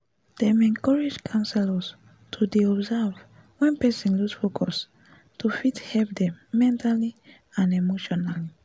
dem encourage counsellors to dey observe wen person loose focus to fit help dem mentally and emotionally